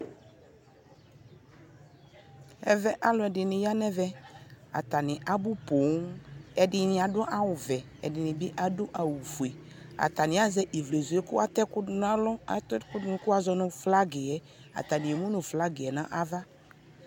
ɛvɛ alʋ ɛdini yanʋ ɛvɛ, atani abu pɔɔm, ɛdini adʋ awʋ vɛɛ ku ɛdini bi adʋ awʋ fʋɛ, atani asɛ ivlɛzʋɛ kʋ atɛ ɛkʋ dʋnʋ alɔ, kʋ ɛkʋɛ kʋ azɔnʋ flagiɛ, atani ɛmʋnʋ flagiɛ nʋ aɣa